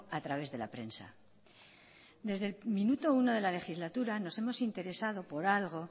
a través de la prensa desde el minuto uno de la legislatura nos hemos interesado por algo